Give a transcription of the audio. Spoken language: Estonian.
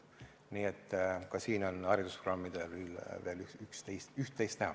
Nii et ka siin on haridusprogrammidel veel üht-teist teha.